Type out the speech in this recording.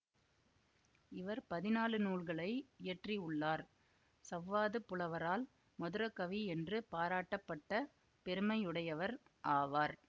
இவர் பதினாலு நூல்களை இயற்றி உள்ளார் சவ்வாதுப் புலவரால் மதுர கவி என்று பாராட்டப்பட்ட பெருமையுடையவர் ஆவார்